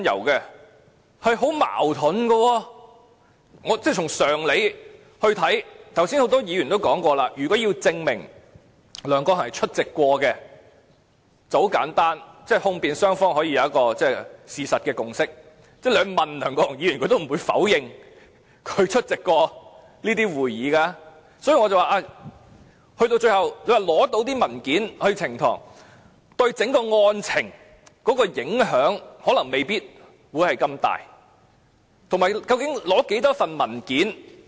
剛才很多議員說，如果要證明梁國雄議員有出席過，很簡單，控辯雙方可以有一個事實共識，你問梁國雄議員，他亦不會否認他曾出席過這些會議。所以，我說，最後你要取這些文件呈堂，對整個案情的影響未必很大，以及究竟要索取多少份文件？